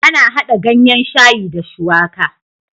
Ana hada ganyan shayi da shuwaka